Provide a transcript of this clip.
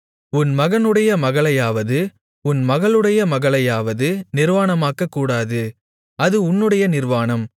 உன் மகனுடைய மகளையாவது உன் மகளுடைய மகளையாவது நிர்வாணமாக்கக்கூடாது அது உன்னுடைய நிர்வாணம்